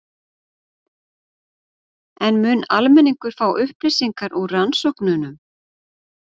En mun almenningur fá upplýsingar úr rannsóknunum?